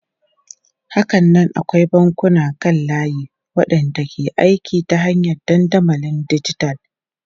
Hakanan akwai bankunan kan layi waɗanda ke aiki ta hanyar dandamalin dijital.